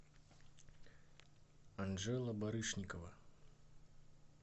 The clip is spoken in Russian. анжела барышникова